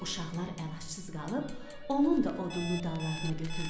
Uşaqlar əlacız qalıb onun da odununu dallarına götürdülər.